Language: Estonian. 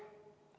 Ma tänan kõiki!